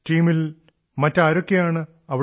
ടീമിൽ മറ്റാരൊക്കെയാണുള്ളതവിടെ